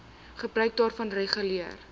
gebruik daarvan reguleer